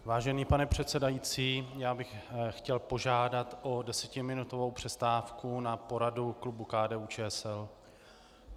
Vážený pane předsedající, já bych chtěl požádat o desetiminutovou přestávku na poradu klubu KDU-ČSL.